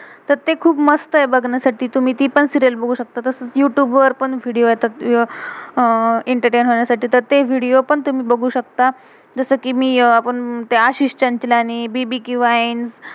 तर ते खुप मस्त आहे बघण्यासाठी. तुम्ही ती पण सीरियल serial बघू शकतं. तसच यूतुब youtube वर पण विडियो video येतात अह एंटरटेन entertain होण्यासाठी. तर ते विडियो video पण तुम्ही बघू शकता. जसं कि मी आपण त्या आह बीबीके bbk